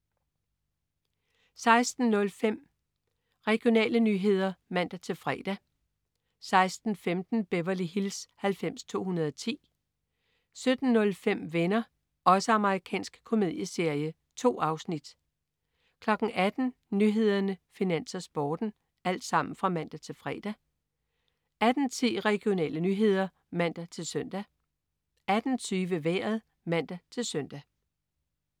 16.05 Regionale nyheder (man-fre) 16.15 Beverly Hills 90210. Amerikansk ungdomsserie (man-fre) 17.05 Venner. Amerikansk komedieserie. 2 afsnit (man-fre) 18.00 Nyhederne, Finans, Sporten (man-fre) 18.10 Regionale nyheder (man-søn) 18.20 Vejret (man-søn)